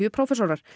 prófessorar